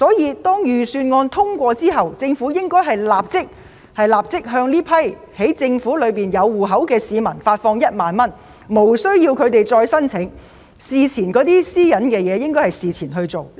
一旦預算案獲得通過，應立即向政府已掌握戶口資料的市民發放1萬元，他們無須提出申請，而有關私隱的問題亦應在事前獲得妥善處理。